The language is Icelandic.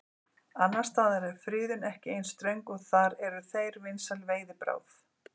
Annars staðar er friðun ekki eins ströng og þar eru þeir vinsæl veiðibráð.